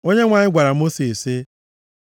Onyenwe anyị gwara Mosis sị,